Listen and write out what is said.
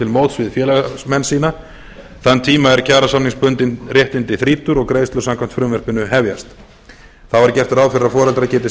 móts við félagsmenn sína þann tíma er kjarasamningsbundin réttindi þrýtur og greiðslur samkvæmt frumvarpinu hefjast þá er gert ráð fyrir að foreldrar geti